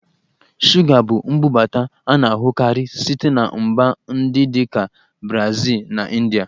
Shuga bụ mbubata a na-ahụkarị site na mba ndị dị ka Brazil na India